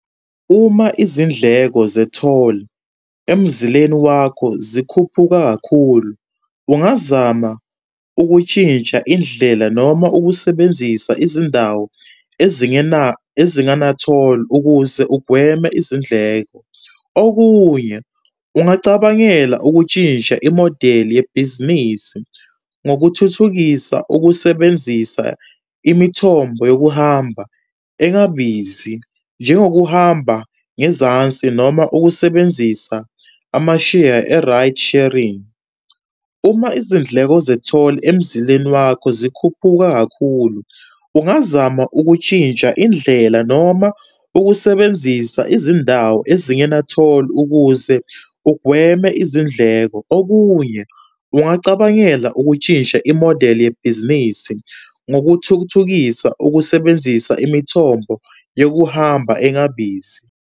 Uma izindleko ze-toll emzileni wakho zikhuphuka kakhulu, ungazama ukutshintsha indlela, noma ukusebenzisa izindawo ezingena, ezingana-toll ukuze ugweme izindleko. Okunye, ungacabangela ukutshintsha imodeli yebhizinisi ngokuthuthukisa ukusebenzisa imithombo yokuhamba engabizi, njengokuhamba ngezansi noma ukusebenzisa amasheya e-ride sharing. Uma izindleko ze-toll emzileni wakho zikhuphuka kakhulu, ungazama ukutshintsha indlela noma ukusebenzisa izindawo ezingena-toll ukuze ugweme izindleko. Okunye, ungacabangela ukutshintsha imodeli yebhizinisi ngokuthukuthukisa ukusebenzisa imithombo yokuhamba engabizi.